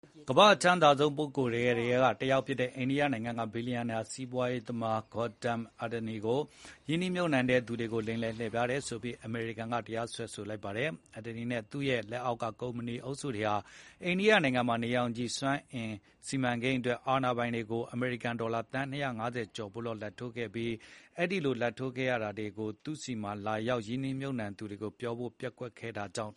ကမ္ဘာ့အချမ်းသာဆုံးပုဂ္ဂိုလ်တွေထဲကတယောက်ဖြစ်တဲ့ အိန္ဒိယနိုင်ငံက ဘီလျံနာစီးပွားရေးသမား Gautam Adani ကိုရင်းနှီးမြှုပ်နှံတဲ့သူတွေကို လိမ်လည်လှည့်ဖြားတယ်ဆိုပြီး အမေရိကန်က တရားစွဲလိုက်ပါတယ်။ Adani နဲ့ သူ့ရဲ့ လက်အောက်က ကုမ္ပဏီအုပ်စုတွေဟာ အိန္ဒိယနိုင်ငံမှာ နေရောင်ခြည်စွမ်းအင် စီမံကိန်းအတွက်အာဏာပိုင်တွေကို အမေရိကန်ဒေါ်လာ သန်း ၂၅၀ ကျော်ဖိုးလောက် လာဘ်ထိုးခဲ့ရပြီး အဲဒီလို လာဘ်ထိုးခဲ့ရတာကို သူ့တို့ဆီမှာ လာရောက် ရင်းနှီးမြှုပ်နှံတဲ့သူတွေကိုပြောဖို့ ပျက်ကွယ်ခဲ့ တာကြောင့်